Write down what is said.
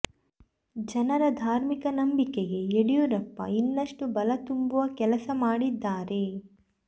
ಜನರ ಧಾರ್ಮಿಕ ನಂಬಿಕೆಗೆ ಯಡಿಯೂರಪ್ಪ ಇನ್ನಷ್ಟು ಬಲ ತುಂಬುವ ಕೆಲಸ ಮಾಡಿದ್ದಾರೆ